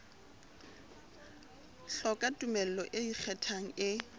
hloka tumello e ikgethang e